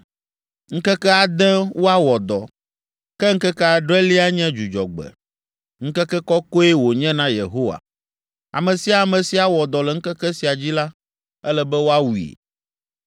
Ŋkeke ade woawɔ dɔ, ke ŋkeke adrelia nye Dzudzɔgbe; ŋkeke kɔkɔe wònye na Yehowa. Ame sia ame si awɔ dɔ le ŋkeke sia dzi la, ele be woawui.